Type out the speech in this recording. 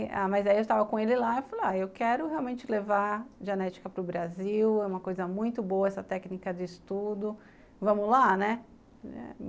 Ah, mas aí eu estava com ele lá e falei, ah, eu quero realmente levar genética para o Brasil, é uma coisa muito boa essa técnica de estudo, vamos lá, né?